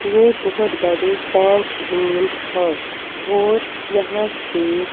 ये बहुत बड़े टैंक तीन हैं और यहाँ से --